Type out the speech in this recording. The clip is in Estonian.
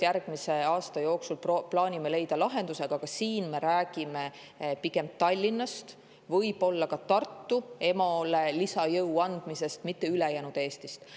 Järgmise aasta jooksul plaanime leida lahenduse, aga ka siin me räägime pigem Tallinnast, võib-olla ka Tartust, et EMO-le lisajõudu anda, mitte ülejäänud Eestist.